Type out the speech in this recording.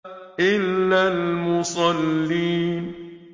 إِلَّا الْمُصَلِّينَ